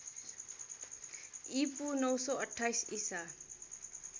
ईपू ९२८ ईसा